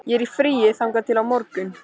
Ég er í fríi þangað til á morgun.